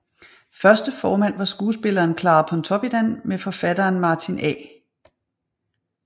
Første formand var skuespilleren Clara Pontoppidan med forfatteren Martin A